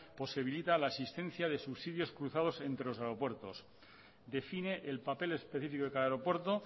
posibilita la asistencia de subsidios cruzados entre los aeropuertos define el papel específico de cada aeropuerto